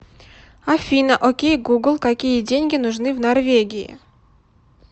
афина окей гугл какие деньги нужны в норвегии